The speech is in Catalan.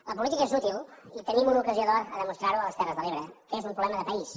la política és útil i tenim una ocasió d’or a demostrarho a les terres de l’ebre que és un problema de país